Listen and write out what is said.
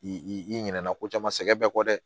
I ɲinɛ na ko caman sɛgɛn bɛɛ kɔ dɛ